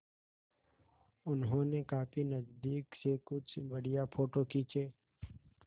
उन्होंने काफी नज़दीक से कुछ बढ़िया फ़ोटो खींचे